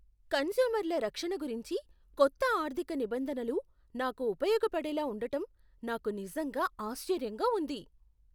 కన్స్యూమర్ల రక్షణ గురించి కొత్త ఆర్థిక నిబంధనలు నాకు ఉపయోగపడేలా ఉండటం నాకు నిజంగా ఆశ్చర్యంగా ఉంది.